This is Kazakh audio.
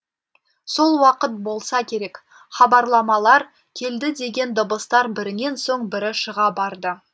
сол уақыт болса керек хабарламалар келді деген дыбыстар бірінен соң бірі шыға барды